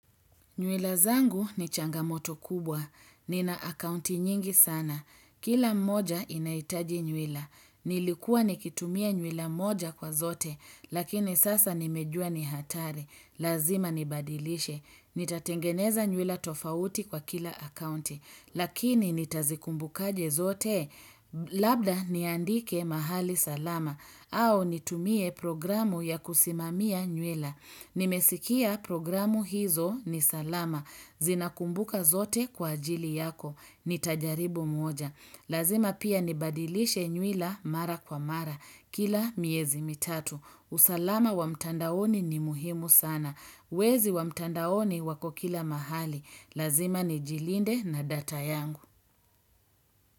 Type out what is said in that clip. Nywila zangu ni changamoto kubwa. Nina akaunti nyingi sana. Kila moja inaitaji nywila. Nilikuwa nikitumia nywila moja kwa zote, lakini sasa nimejua ni hatari. Lazima nibadilishe. Nitatengeneza nywila tofauti kwa kila akaunti, lakini nitazikumbukaje zote, labda niandike mahali salama, au nitumie programu ya kusimamia nywila. Nimesikia programu hizo ni salama, zinakumbuka zote kwa ajili yako, nitajaribu moja. Lazima pia nibadilishe nywila mara kwa mara, kila miezi mitatu. Usalama wa mtandaoni ni muhimu sana. Wezi wa mtandaoni wako kila mahali. Lazima ni jilinde na data yangu.